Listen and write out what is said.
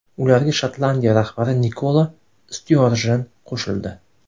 Ularga Shotlandiya rahbari Nikola Styorjen qo‘shildi.